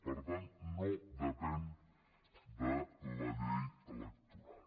per tant no depèn de la llei electoral